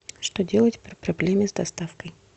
что делать при проблеме с доставкой